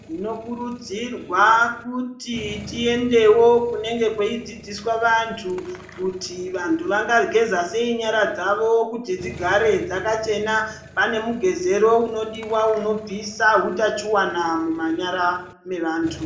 Tinokurudzirwa kuti tiendewo kunenge kweidzidziswa vantu kuti vantu vangageza sei nyara dzavo kuti dzigare dzakachena. Pane mugezero unodiwa unobvisa utachiwana mumanyara mevantu.